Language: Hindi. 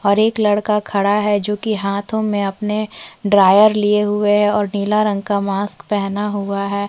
और एक लड़का खड़ा है जो कि हाथो में अपने ड्रायर लिये हुए है और नीले रंग का मास्क पहना हुआ है।